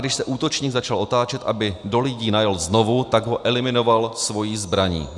Když se útočník začal otáčet, aby do lidí najel znovu, tak ho eliminoval svou zbraní.